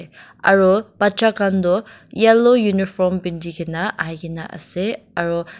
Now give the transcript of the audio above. aro bacha khan toh yellow uniform pitikena ahikaena ase aro--